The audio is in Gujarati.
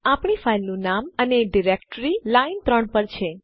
આપણી ફાઈલનું નામ અને ડાઈરેક્ઽરી લાઈન ૩ પર છે